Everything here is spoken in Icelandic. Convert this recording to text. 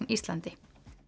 Íslandi